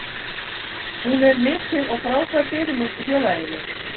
Hún er mikil og frábær fyrirmynd í félaginu.